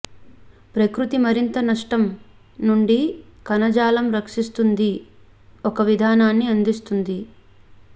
ప్రకృతి మరింత నష్టం నుండి కణజాలం రక్షిస్తుంది ఒక విధానాన్ని అందిస్తుంది